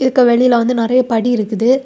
இதுக்கு வெளியில வந்து நெறைய படி இருக்குது.